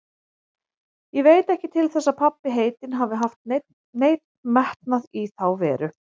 Ég veit ekki til þess að pabbi heitinn hafi haft neinn metnað í þá veru.